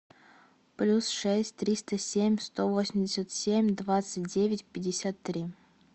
плюс шесть триста семь сто восемьдесят семь двадцать девять пятьдесят три